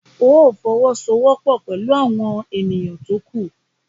Óò fọwọ́sowọ́pọ̀ pẹ̀lú àwọn ènìyàn tó kù!